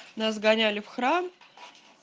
нас гоняли в храм